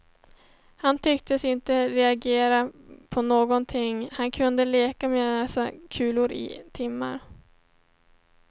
Han tycktes inte reagera på någonting, han kunde leka med sina kulor i timmar.